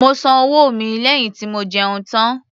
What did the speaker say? Mo san owó mi lẹ́yìn tí mo jẹun tán